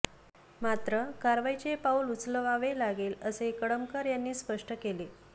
मात्र कारवाईचे पाऊल उचलावे लागेल असेही कळमकर यांनी स्पष्ट केले